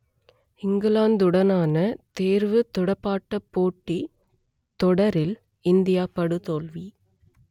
இங்கிலாந்துடனான தேர்வுத் துடுப்பாட்டப் போட்டித் தொடரில் இந்தியா படுதோல்வி